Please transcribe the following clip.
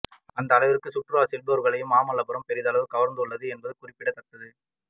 அந்த அளவிற்கு சுற்றுலா செல்பவர்களையும் மாமல்லபுரம் பெருமளவில் கவர்ந்துள்ளது என்பது குறிப்பிடத்தக்கது